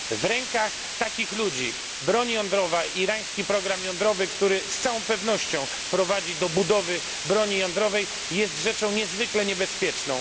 W rękach takich ludzi broń jądrowa i irański program jądrowy, który z całą pewnością prowadzi do budowy broni jądrowej, jest rzeczą niezwykle niebezpieczną.